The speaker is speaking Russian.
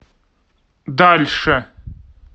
дальше